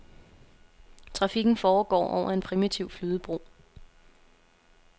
Trafikken foregår over en primitiv flydebro.